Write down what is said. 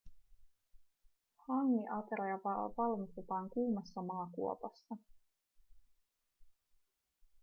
hangi-ateria valmistetaan kuumassa maakuopassa